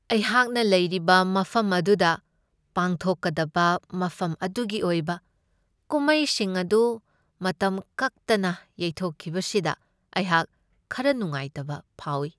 ꯑꯩꯍꯥꯛꯅ ꯂꯩꯔꯤꯕ ꯃꯐꯝ ꯑꯗꯨꯗ ꯄꯥꯡꯊꯣꯛꯀꯗꯕ ꯃꯐꯝ ꯑꯗꯨꯒꯤ ꯑꯣꯏꯕ ꯀꯨꯝꯃꯩꯁꯤꯡ ꯑꯗꯨ ꯃꯇꯝ ꯀꯛꯇꯅ ꯌꯩꯊꯣꯛꯈꯤꯕꯁꯤꯗ ꯑꯩꯍꯥꯛ ꯈꯔ ꯅꯨꯡꯉꯥꯏꯇꯕ ꯐꯥꯎꯢ ꯫